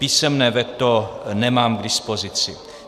Písemné veto nemám k dispozici.